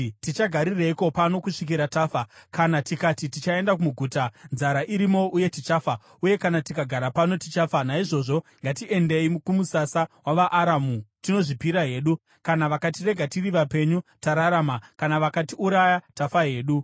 “Tichagarireiko pano kusvikira tafa? Kana tikati, ‘Tichaenda muguta,’ nzara irimo uye tichafa. Uye kana tikagara pano, tichafa. Naizvozvo ngatiendei kumusasa wavaAramu tinozvipira hedu. Kana vakatirega tiri vapenyu, tararama, kana vakatiuraya, tafa hedu.”